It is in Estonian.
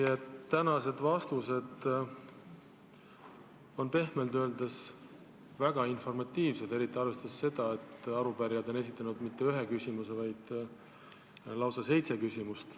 Teie tänased vastused on pehmelt öeldes väga informatiivsed, eriti arvestades seda, et arupärijad ei ole esitanud mitte üht küsimust, vaid on esitanud lausa seitse küsimust.